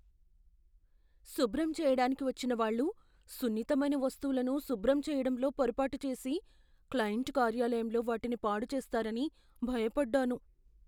శుభ్రం చెయ్యటానికి వచ్చినవాళ్ళు సున్నితమైన వస్తువులను శుభ్రం చేయడంలో పొరపాటు చేసి క్లయింట్ కార్యాలయంలో వాటిని పాడుచేస్తారని భయపడ్డాను.